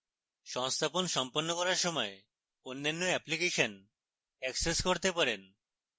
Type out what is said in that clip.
কোন সংস্থাপন সম্পন্ন করার সময় অন্যান্য অ্যাপ্লিকেশন অ্যাক্সেস করতে পারেন